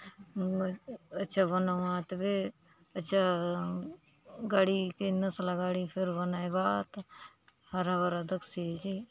मोर अच्छा बनाऊआत बे अच्छा गाड़ी के नसला गाड़ी के फेर बनाय बा आत हरा - हरा दखसिआचे।